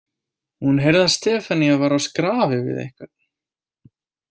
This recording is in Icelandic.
Hún heyrði að Stefanía var á skrafi við einhvern.